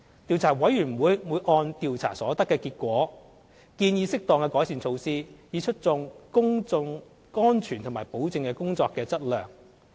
調查委員會會按調查所得結果，建議適當改善措施，以促進公眾安全和保證工程的質量。